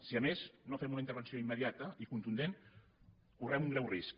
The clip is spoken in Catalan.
si a més no fem una intervenció immediata i contundent correm un greu risc